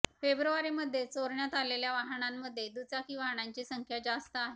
फेब्रुवारीमध्ये चोरण्यात आलेल्या वाहनांमध्ये दुचाकी वाहनांची संख्या जास्त आहे